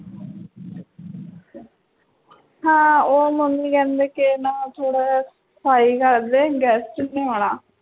ਹਾਂ ਉਹ mummy ਕਹਿੰਦੇ ਕੇ ਨਾ ਥੋੜ੍ਹਾ ਜਿਹਾ ਸਫ਼ਾਈ ਕਰਦੇ guest ਨੇ ਆਉਣਾ